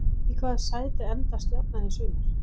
Í hvaða sæti endar Stjarnan í sumar?